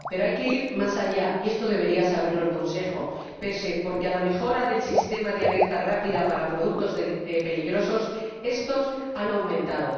Pero hay que ir más allá, y esto debería saberlo el Consejo per se porque con la mejora del sistema de alerta rápida para productos peligrosos, su número ha aumentado.